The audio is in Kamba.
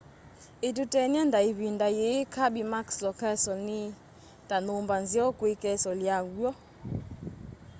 ituteny'e nda ivinda yii kirby muxloe castle ni ta nyumba nzeo kwi castle ya w'o